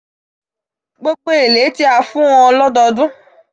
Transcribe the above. gbogbo ele ti a fun won lododun. um